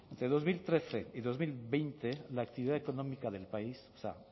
entre dos mil trece y dos mil veinte la actividad económica del país o sea